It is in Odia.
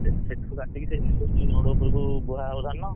ସେଠୁ କାଟିକି road ଉପରକୁ ବୁହାହେବ ଧାନ।